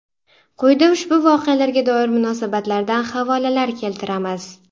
Quyida ushbu voqealarga doir munosabatlardan havolalar keltiramiz.